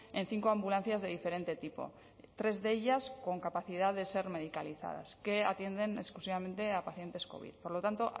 en cinco ambulancias de diferente tipo tres de ellas con capacidad de ser medicalizadas que atienden exclusivamente a pacientes covid por lo tanto